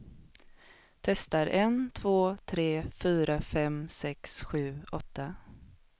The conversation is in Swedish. Testar en två tre fyra fem sex sju åtta.